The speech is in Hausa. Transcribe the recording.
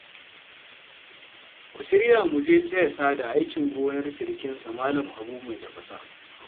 Ku shirya mu je taya Sada aikin gonar sirikinsa Malam Habu mai tafasa